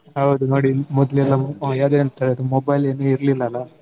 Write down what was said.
ಹೌದು ನೋಡಿ ಮೊದ್ಲೆಲ್ಲಾ mobile ಇರ್ಲಿಲ್ಲ ಅಲ್ಲ.